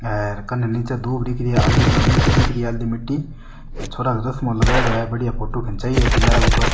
एर कने निचे दूब दिख रही है आली मिट्टी दिख रही है आली मिटी छोरा चश्मों लगाईडा है बढ़िया फोटो खिंचाई है किनारा उपर।